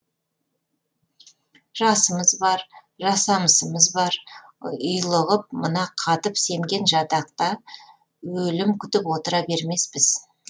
жасымыз бар жасамысымыз бар ұйлығып мына қатып семген жатақта өлім күтіп отыра бермеспіз